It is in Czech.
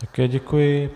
Také děkuji.